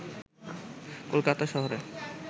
কলকাতা শহরে